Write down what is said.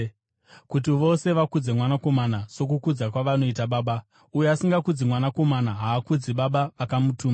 kuti vose vakudze Mwanakomana sokukudza kwavanoita Baba. Uyo asingakudzi Mwanakomana, haakudzi Baba vakamutuma.